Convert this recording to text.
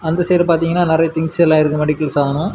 அந்த சைடு பார்த்தீங்கன்னா நிறைய திங்ஸ் எல்லாம் இருக்கு மெடிக்கல்ஸ்ஸானு .